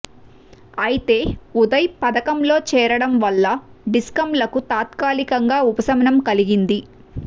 అయితే ఉదయ్ పథకంలో చేరడం వల్ల డి స్కంలకు తాత్కాలికంగా ఉపశమనం కలిగింది